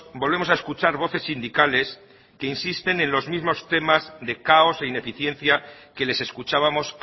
volvemos a escuchar voces sindicales que insisten en los mismos temas de caos e ineficiencia que les escuchábamos